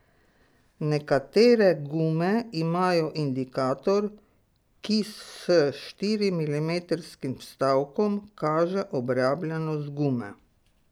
Nekatere gume imajo indikator, ki s štirimilimetrskim vstavkom kaže obrabljenost gume.